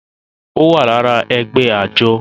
ó wà lára ẹgbẹ́ àjọ